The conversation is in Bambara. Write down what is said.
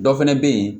Dɔ fɛnɛ be yen